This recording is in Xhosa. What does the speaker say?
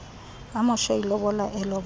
amoshe ilobola elobola